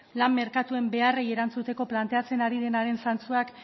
lan merkatuen beharrei erantzuteko planteatzen ari denaren zantzuak